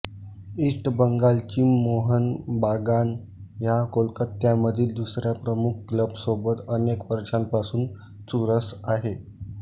east बंगालची मोहन बागान ह्या कोलकात्यामधील दुसऱ्या प्रमुख क्लबासोबत अनेक वर्षांपासून चुरस आहे